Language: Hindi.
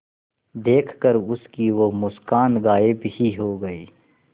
देखकर उसकी वो मुस्कान गायब ही हो गयी